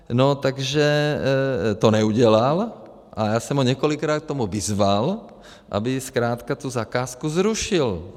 No, takže to neudělal a já jsem ho několikrát k tomu vyzval, aby zkrátka tu zakázku zrušil.